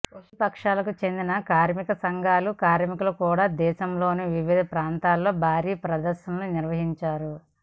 ప్రతిపక్షాలకు చెందిన కార్మిక సంఘాల కార్మికులు కూడా దేశంలోని వివిధ ప్రాంతాల్లో భారీ ప్రదర్శనలు నిర్వహించారు